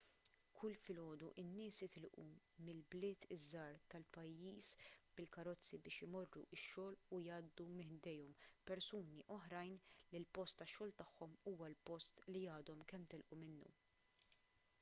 kull filgħodu in-nies jitilqu mill-bliet iż-żgħar tal-pajjiż bil-karozzi biex imorru x-xogħol u jgħaddu minn ħdejhom persuni oħrajn li l-post tax-xogħol tagħhom huwa l-post li għadhom kemm telqu minnu